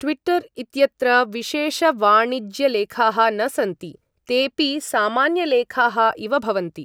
Twitter इत्यत्र विशेषवाणिज्यलेखाः न सन्ति। तेपि सामान्यलेखाः इव भवन्ति।